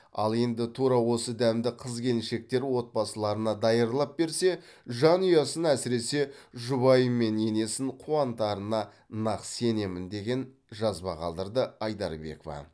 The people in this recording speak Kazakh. ал енді тура осы дәмді қыз келіншектер отбасыларына даярлап берсе жанұясын әсіресе жұбаиы мен енесін қуантарына нақ сенемін деген жазба қалдырды айдарбекова